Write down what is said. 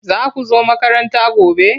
Za ku zo makaranta gobe?